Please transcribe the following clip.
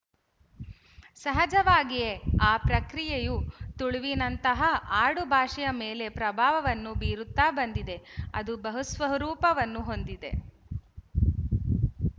ಸಹಜವಾಗಿಯೇ ಆ ಪ್ರಕ್ರಿಯೆಯು ತುಳುವಿನಂತಹಾ ಆಡುಭಾಷೆಯ ಮೇಲೆ ಪ್ರಭಾವವನ್ನು ಬೀರುತ್ತಾ ಬಂದಿದೆ ಅದು ಬಹುಸ್ವರೂಪವನ್ನು ಹೊಂದಿದೆ